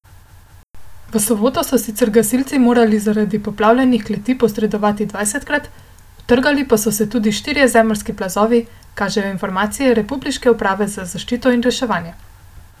V soboto so sicer gasilci morali zaradi poplavljenih kleti posredovati dvajsetkrat, utrgali so se tudi štirje zemeljski plazovi, kažejo informacije republiške uprave za zaščito in reševanje.